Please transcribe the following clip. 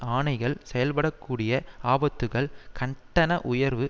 ஆணைகள் செயல்படக்கூடிய ஆபத்துக்கள் கட்டண உயர்வு